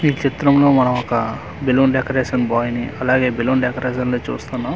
ఈ చిత్రం లో మనం ఒక బెలూన్ డేకరేషన్ బోయ్ ని అలాగే బెలూన్ డెకరేషన్ ని చూస్తున్నాం.